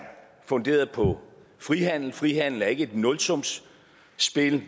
funderet på frihandel frihandel er ikke et nulsumsspil